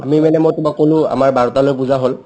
আমি মানে মই তোমাক ক'লো আমাৰ বাৰটালৈ পূজা হ'ল